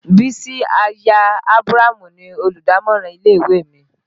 Bísí aya Ábúrámù ni Olùdámọ̀ràn ilé ìwé mi